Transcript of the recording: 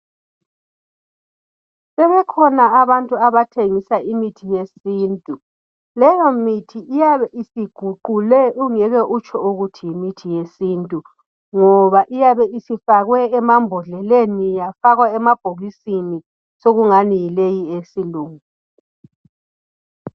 Sebekhona abantu abathengisa imithi yesintu leyo mithi iyabe isiguqule ungeke utsho ukuthi yimithi yesintu ngoba iyabe isifakwe emabhodleleni yafakwa emabhokisini sekungani yileyi eyesilungu.